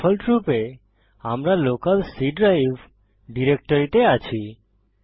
ডিফল্টরূপে আমরা local C drive ডিরেক্টরিতে আছি